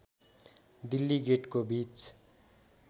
दिल्ली गेटको बीच